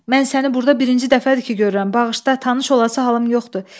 Mən səni burda birinci dəfədir ki görürəm, bağışla, tanış olası halım yoxdur.